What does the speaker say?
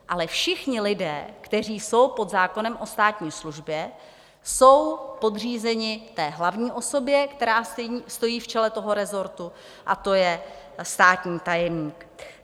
Ale všichni lidé, kteří jsou pod zákonem o státní službě, jsou podřízeni té hlavní osobě, která stojí v čele toho rezortu, a to je státní tajemník.